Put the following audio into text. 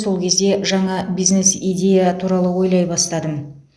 сол кезде жаңа бизнес идея туралы ойлай бастадым